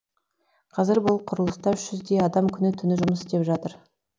қазір бұл құрылыста үш жүздей адам күні түні жұмыс істеп жатыр